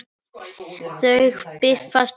Þau bifast ekki.